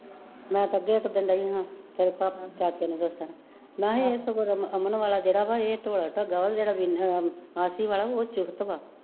ਮੈਂ ਤੇ ਤੇਰੇ ਚਾਚੇ ਨੂੰ ਦੱਸਣ, ਮਹਾਂ ਏ ਸਗੋਂ ਰਮਨ ਅਮਨ ਵਾਲਾ ਜੇੜਾ ਵਾ ਏ ਢੋਲ ਢੱਗਾ ਵਾ, ਜਿਹੜਾ ਆਸੀ ਵਾਲਾ ਓ ਚੁਸਤ ਵਾ